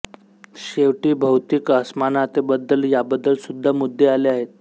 शेवटी भौतिक असमानतेबद्दल याबद्दल सुद्धा मुद्दे आले आहेत